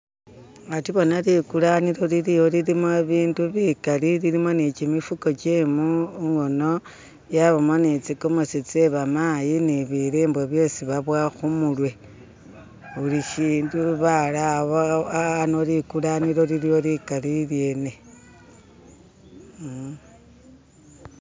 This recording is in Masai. Hati bona likulanilo liliwo lilimo ibintu bikal lilimo ni chimifuko gyemukhono yabamo ni tsigomesi tseba mayi ni bi limbe byesi baboya khumirwe bulishindu barawo hano likulanilo likali lyene